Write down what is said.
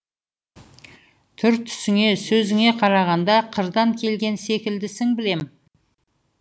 түр түсіңе сөзіңе қарағанда қырдан келген секілдісің білем